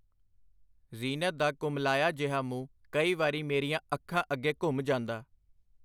ਜ਼ੀਨਤ ਦਾ ਕੁਮਲਾਇਆ ਜਿਹਾ ਮੂੰਹ ਕਈ ਵਾਰੀ ਮੇਰੀਆਂ ਅੱਖਾਂ ਅੱਗੇ ਘੁੰਮ ਜਾਂਦਾ.